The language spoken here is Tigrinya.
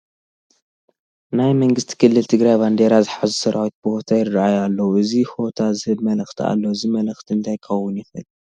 ናይ መንግስቲ ክልል ትግራይ ባንዲራ ዝሓዙ ሰራዊት ብሆታ ይርአዩ ኣለዉ፡፡ እዚ ሆታ ዝህቦ መልእኽቲ ኣሎ፡፡ እዚ መልእኽቲ እንታይ ክኸውን ይኽእል?